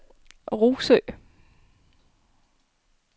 Rougsø